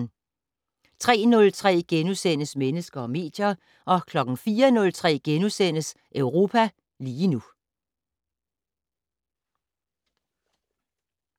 03:03: Mennesker og medier * 04:03: Europa lige nu *